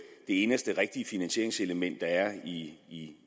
eneste rigtige finansieringselement der er i